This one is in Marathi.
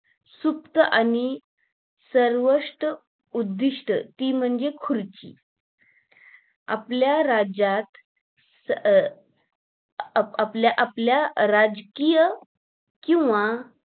सुप्त आणि सर्वंष्ट उद्धिष्ट ते म्हणजे खुर्ची आपल्या राज्यात स अं आप आपल्या राजकीय किंवा